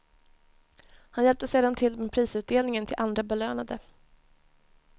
Han hjälpte sedan till med prisutdelningen till andra belönade.